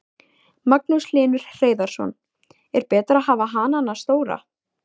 Magnús Hlynur Hreiðarsson: Er betra að hafa hanana stóra?